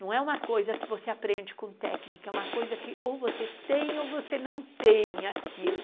Não é uma coisa que você aprende com técnica, é uma coisa que ou você tem ou você não tem aquilo.